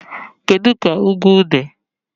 Kedu ka ugwu dị?